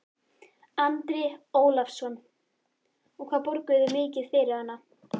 Andri Ólafsson: Og hvað borguðu þið mikið fyrir hana?